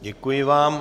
Děkuji vám.